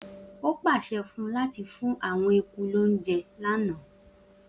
O pase fun u lati fun awon eku lojo ana